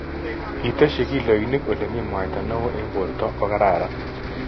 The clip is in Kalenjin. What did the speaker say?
iteshi kiloinik olemii mwaita neoo eng porto kogararan